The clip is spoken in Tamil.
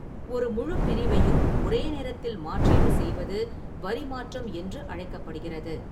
ஒரு முழுப் பிரிவையும் ஒரே நேரத்தில் மாற்றீடு செய்வது வரி மாற்றம் என்று அழைக்கப்படுகிறது.